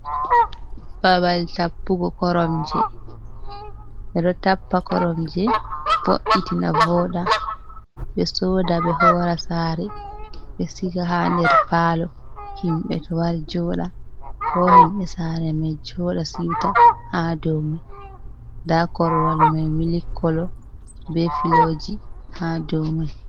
Babal tappugo koromje, ɓe ɗo tappa koromje, bo’itina vooɗa, ɓe sooda ɓe hoora saare, ɓe siga haa nder paalo, himɓe to wari jooɗa, ko himɓe saare may, jooɗa siwta haa dow may. Ndaa korowal may mili kolo, be filooji haa dow may.